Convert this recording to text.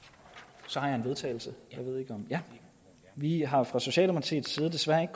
så har jeg vedtagelse vi har fra socialdemokratiets side desværre ikke